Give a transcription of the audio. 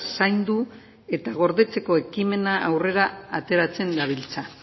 zaindu eta gordetzeko ekimena aurrera ateratzen dabiltza